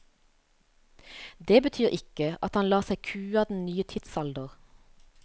Det betyr ikke at han lar seg kue av den nye tidsalder.